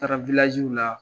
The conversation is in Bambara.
Taara la.